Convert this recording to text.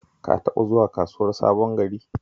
Ka taɓa zuwa Kasuwar Sabon Gari?